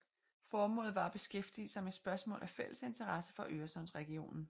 Formålet var at beskæftige sig med spørgsmål af fælles interesse for Øresundsregionen